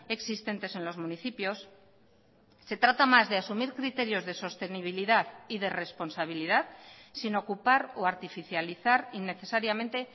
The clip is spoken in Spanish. existentes en los municipios se trata más de asumir criterios de sostenibilidad y de responsabilidad sin ocupar o artificializar innecesariamente